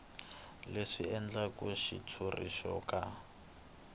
leswi endlaka xitshuriwa xo ka